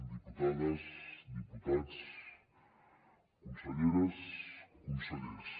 diputades diputats conselleres consellers